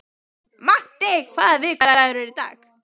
Matti, hvaða vikudagur er í dag?